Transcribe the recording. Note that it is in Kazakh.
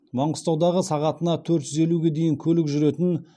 маңғыстаудағы сағатына төрт жүз елуге дейін көлік жүретін